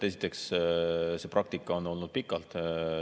Esiteks, see praktika on olnud pikalt.